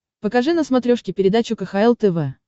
покажи на смотрешке передачу кхл тв